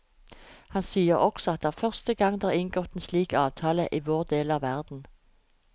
Han sier også at det er første gang det er inngått en slik avtale i vår del av verden.